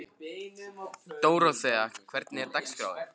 Dóróthea, hvernig er dagskráin?